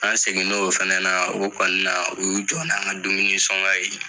An segin' o o fɛnɛ na o kɔni na u y'u jɔ n' an ka dumuni sɔnkɔn ye.